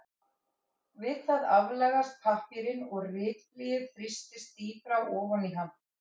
Við það aflagast pappírinn og ritblýið þrýstist dýpra ofan í hann.